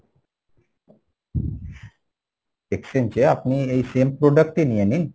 exchange এ আপনি এই same product টি নিয়ে নিন।